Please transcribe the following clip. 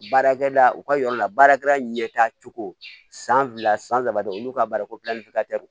Baarakɛda u ka yɔrɔ la baarakɛra ɲɛtacogo san fila san saba de olu ka baara ko